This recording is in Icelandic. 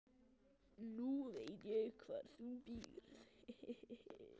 Nú veit ég hvar þú býrð.